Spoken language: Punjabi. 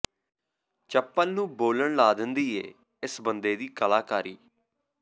ਚੱਪਲ ਨੂੰ ਬੋਲਣ ਲਾ ਦਿੰਦੀ ਏ ਇਸ ਬੰਦੇ ਦੀ ਕਲਾਕਾਰੀ